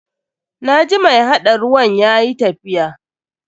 Na ji mai haɗa ruwan yayi tafiya.